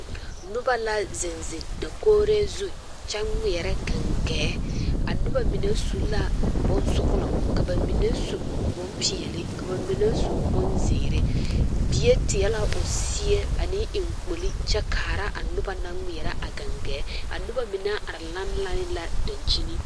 Noba la zeŋ zeŋ dakogree zu kyɛ ŋmeɛrɛ gaŋgɛɛ a noba mine su la bonsɔglɔ ka ba mine su bonpeɛlle ka ba mine su bonzeere bie teɛ la o seɛ ane eŋkpoli kyɛ kaara a noba naŋ ŋmeɛrɛ a gaŋgɛɛ a noba mine are lanne lanne la dankyini.